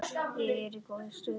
Ég er í góðri stöðu.